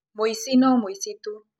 Mũici no mũici tu.